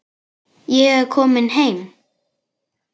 Ég er kominn heim!